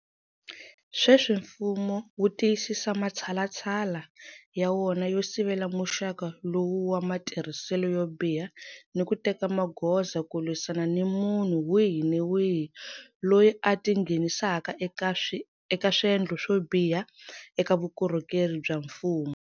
Sweswi mfumo wu tiyisisa matshalatshala ya wona yo sivela muxaka lowu wa matirhiselo yo biha ni ku teka magoza ku lwisana ni munhu wihi ni wihi loyi a tinghenisaka eka swendlo swo biha eka vukorhokeri bya mfumo.